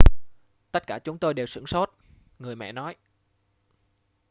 tất cả chúng tôi đều sửng sốt người mẹ nói